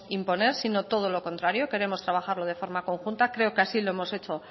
imponer sino todo lo contrario queremos trabajarlo de forma conjunta creo que así lo hemos hecho